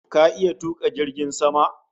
Ka iya tuka jirgin sama?